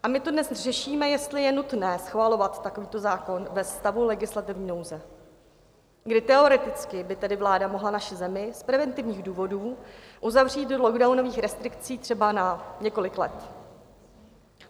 A my tu dnes řešíme, jestli je nutné schvalovat takovýto zákon ve stavu legislativní nouze, kdy teoreticky by tedy vláda mohla naši zemi z preventivních důvodů uzavřít do lockdownových restrikcí třeba na několik let.